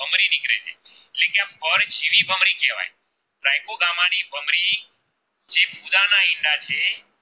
જે